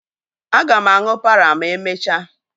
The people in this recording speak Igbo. Aga m aṅụ párà ma emechaa